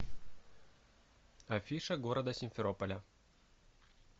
афиша города симферополя